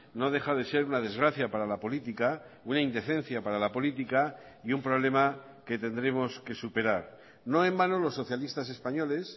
no deja de ser una desgracia para la política una indecencia para la política y un problema que tendremos que superar no en vano los socialistas españoles